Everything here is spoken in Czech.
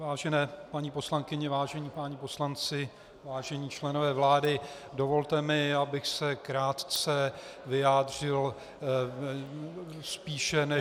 Vážené paní poslankyně, vážení páni poslanci, vážení členové vlády, dovolte mi, abych se krátce vyjádřil spíše než -